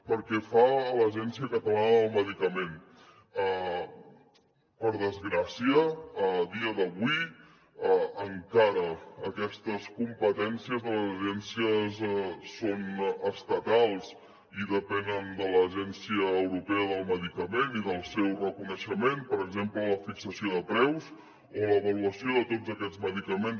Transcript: pel que fa a l’agència catalana del medicament per desgràcia a dia d’avui encara aquestes competències de les agències són estatals i depenen de l’agència europea del medicament i del seu reconeixement per exemple la fixació de preus o l’avaluació de tots aquests medicaments